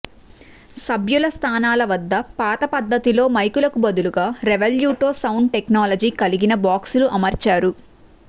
సభ్యుల స్థానాల వద్ద పాత పద్ధతిలో మైకులకు బదులుగా రెవెల్యూటో సౌండ్ టెక్నాలజీ కలిగిన బాక్సులు అమర్చారు